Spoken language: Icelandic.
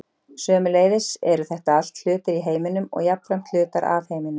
Sömuleiðis eru þetta allt hlutir í heiminum og jafnframt hlutar af heiminum.